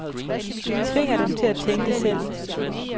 Det tvinger dem til at tænke selv.